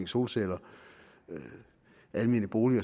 solceller almene boliger